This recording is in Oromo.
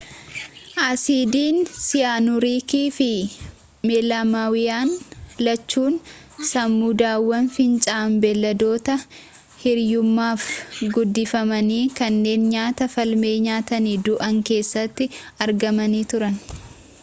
asiidiin siyaanuuriikii fi meelaamaayiniin lachuun samuudawwan fincaan beeladoota hiriyummaaf guddifamanii kanneen nyaata faalame nyaatanii du'an keessatti argamanii turan